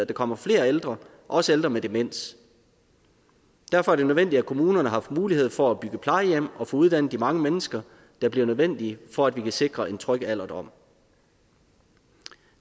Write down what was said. komme flere ældre også ældre med demens derfor er det nødvendigt at kommunerne har haft mulighed for at bygge plejehjem og få uddannet de mange mennesker der bliver nødvendige for at vi kan sikre en tryg alderdom